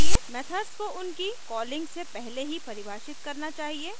methods को उनकी calling से पहले ही परिभाषित करना चाहिए